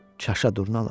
Çaşa durnalar.